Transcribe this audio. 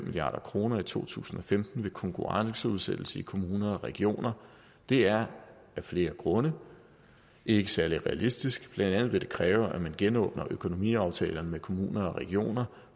milliard kroner i to tusind og femten ved konkurrenceudsættelse i kommuner og regioner det er af flere grunde ikke særlig realistisk blandt andet vil det kræve at man genåbner økonomiaftalerne med kommuner og regioner